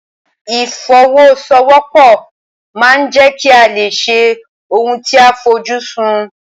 Ìfọwọ́sowọ́pọ̀ ma ń jẹ́ kí a lè ṣe ohun tí a fojú sùn.